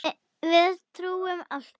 Við trúum alltaf.